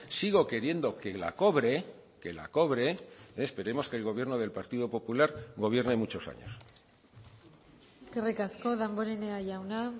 sigo queriendo que la cobre que la cobre esperemos que el gobierno del partido popular gobierne muchos años eskerrik asko damborenea jauna